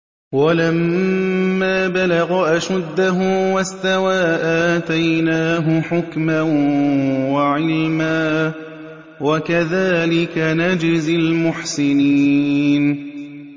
وَلَمَّا بَلَغَ أَشُدَّهُ وَاسْتَوَىٰ آتَيْنَاهُ حُكْمًا وَعِلْمًا ۚ وَكَذَٰلِكَ نَجْزِي الْمُحْسِنِينَ